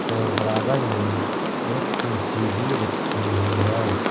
और बराबर में एक कुर्सी भी रखी हुई है।